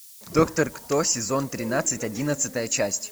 доктор кто сезон тринадцать одиннадцатая часть